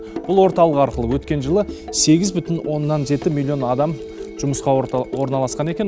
бұл орталық арқылы өткен жылы сегіз бүтін оннан жеті миллион адам жұмысқа орналасқан екен